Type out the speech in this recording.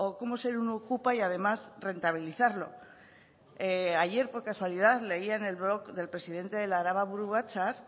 cómo ser un okupa y además rentabilizarlo ayer por casualidad leía en el blog del presidente del araba buru batzar